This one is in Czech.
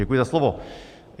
Děkuji za slovo.